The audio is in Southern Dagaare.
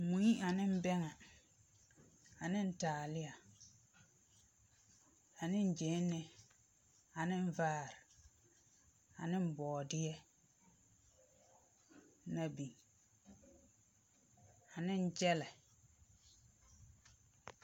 Mui ane bɛŋɛ, ane taaleɛ, ane gyɛnlee, ane vaare, ane bɔɔdeɛ, na biŋ, ane gyɛlɛ.